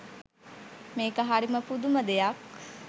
මේක හරිම පුදුම දෙයක්.